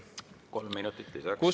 Kolm minutit lisaks.